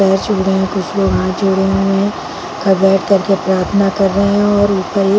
पैर छू रहे है कुछ लोग हाथ जोड़ रहे क बैठ कर के प्राथना कर रहे और ऊपर एक--